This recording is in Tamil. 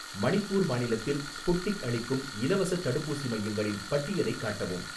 மணிப்பூர் மாநிலத்தில் ஸ்புட்னிக் அளிக்கும் இலவசத் தடுப்பூசி மையங்களின் பட்டியலைக் காட்டவும்.